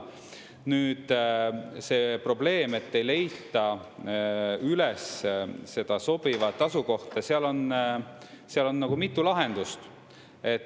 Nüüd see probleem, et ei leita üles seda sobivat asukohta – seal on mitu lahendust.